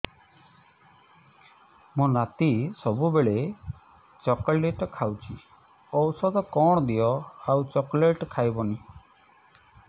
ମୋ ନାତି ସବୁବେଳେ ଚକଲେଟ ଖାଉଛି ଔଷଧ କଣ ଦିଅ ଆଉ ଚକଲେଟ ଖାଇବନି